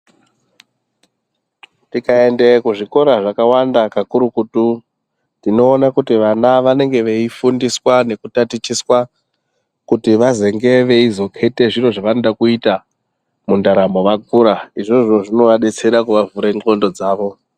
Tikaende kuzvikora zvakawanda kakurutu tinoona kuti vana vanenge veifundiswa nekutatichitiswa kuti vazonge veizokete zviro zvavanoda kuita mundaramo vakura izvozvo zvinovadetsera kuvavhura ndxondo dzavo.